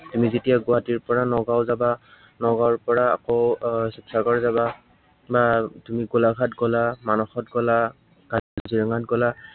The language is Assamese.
আমি যেতিয়া গুৱাহাটীৰ পৰা নগাওঁ যাবা, নগাঁৱৰ পৰা আকৌ এৰ শিৱসাগৰ যাবা, বা তুমি গোলাঘাট গলা, মানসত গলা, কাজিৰঙাত গলা